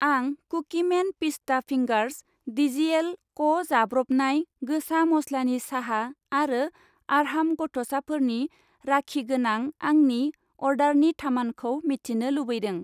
आं कुकिमेन पिस्ता फिंगार्स, टिजिएल क' जाब्रबनाय गोसा मस्लानि साहा आरो आर्हाम गथ'साफोरनि राखि गोनां आंनि अर्डारनि थामानखौ मिथिनो लुबैदों।